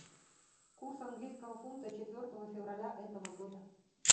курс английского фунта четвертого февраля этого года